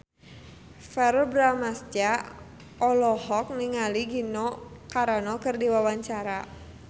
Verrell Bramastra olohok ningali Gina Carano keur diwawancara